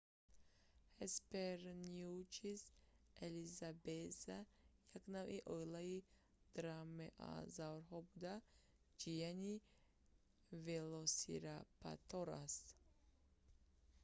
hesperonychus elizabethae як навъи оилаи дромеозаврҳо буда ҷияни велосираптор аст